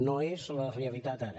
no és la realitat ara